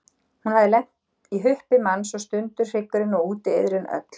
Hafði hún lent í huppi manns og sundur hryggurinn, og úti iðrin öll.